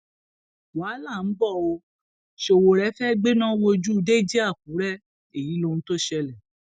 wàhálà ń bọ ọ sowore fee gbẹná wojú dèjì àkùrẹ èyí lohun tó ṣẹlẹ